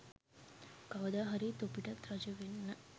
කවද හරි තොපිටත් රජ වෙන්න